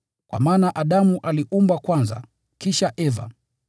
Kwa maana Adamu aliumbwa kwanza, kisha Eva.